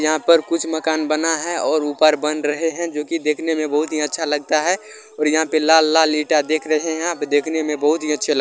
यहाँ पर कुछ मकान बना है और ऊपर बन रहे हैं जो की देखने में बहुत ही अच्छा लगता है और यहाँ पे लाल लाल ईंटा देख रहे हैं आप ये देखने में बहुत ही अच्छे लगते--